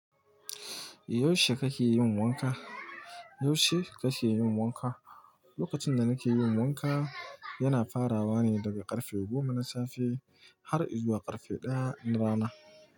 Yaushe kake yin wanka? Yaushe kake yin wanka? Lokacin da nake yin wanka, yana farawa ne daga karfe goma na safe har izuwa karfe ɗaya na rana.